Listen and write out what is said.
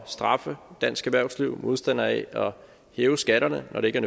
straffe dansk erhvervsliv modstander af at hæve skatterne når det ikke